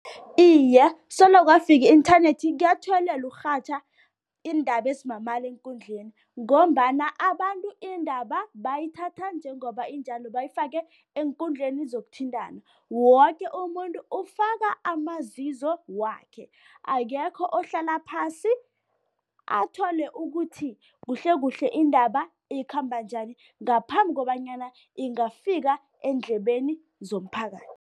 Iye, solo kwafika i-internet kuyathuwelela ukurhatjha iindaba ezimamala eenkundleni ngombana abantu indaba bayithatha njengoba injalo bayifake eenkundleni zokuthintana. Woke umuntu ufaka amazizo wakhe, akekho ohlala phasi athole ukuthi kuhlekuhle indaba ikhamba njani ngaphambi kobanyana ingafika eendlebeni zomphakathi.